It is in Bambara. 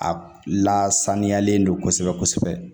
A lasaniyalen don kosɛbɛ kosɛbɛ